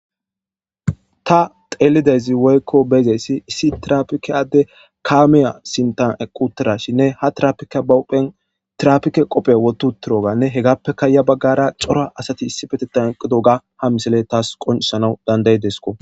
Ta tellidaysi woyikko beyidayisi issi tirappike addey kammeya sintan eqqi uttidashinne ha tirappikeyi ba huphphen tirappike kobbe wotti uttidoganne heggappeka ya baggara Cora asati issippeteta eqqidoga ha missiley tasi qonccisanaw dandayodesko.